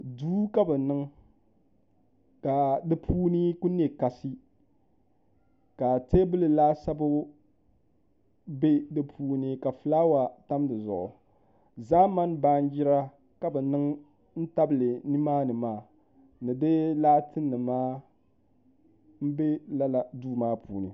Duu ka bi niŋ ka di puuni ku niɛ kasi ka teebuli laasabu bɛ di puuni ka fulaawa tam dizuɣu zaamani baanjira ka bi niŋ n tabili nimaani maa ni di laati nima n bɛ lala duu maa puuni